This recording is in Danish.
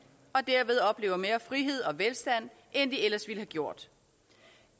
og derved oplever mere frihed og velstand end de ellers ville have gjort